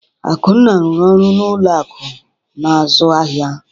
Akunna rụrụ ọrụ n’ụlọ akụ̀ na-azụ ahịa.